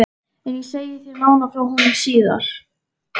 En ég segi þér nánar frá honum síðar.